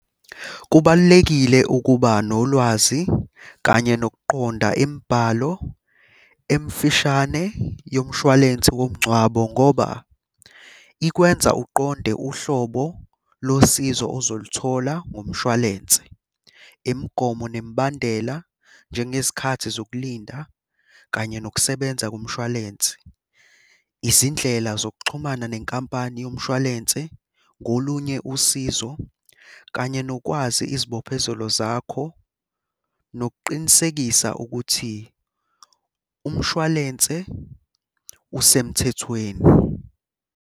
Kubalulekile ukuba nolwazi kanye nokuqonda imibhalo emfishane yomshwalensi womngcwabo ngoba ikwenza uqonde uhlobo losizo ozoluthola ngomshwalense. Imigomo nemibandela, njengezikhathi zokulinda, kanye nokusebenza komshwalense. Izindlela zokuxhumana nenkampani yomshwalense ngolunye usizo kanye nokwazi izibophezelo zakho, nokuqinisekisa ukuthi umshwalense usemthethweni.